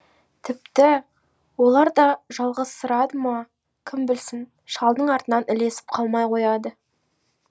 тіпті олар да жалғызсырады ма кім білсін шалдың артынан ілесіп қалмай қояды